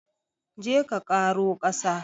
Je ka ƙaro ƙasa!